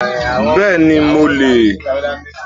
Bẹ́ẹ̀ni mo le è